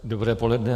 Dobré poledne.